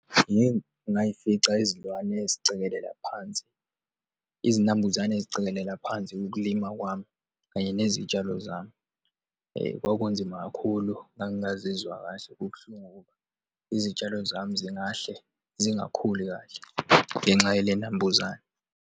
Yimi, ngiyifica izilwane ezicikelela phansi, izinambuzane izicekelela phansi ukulima kwami kanye nezitshalo zami. Eyi, kwakunzima kakhulu, ngangazizwa kahle, kubuhlungu ukuba izitshalo zami singahle zingakhuli kahle ngenxa yaley'nambuzane.